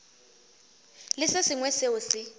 le se sengwe seo se